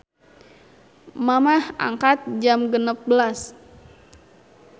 Mamah angkat jam 16.00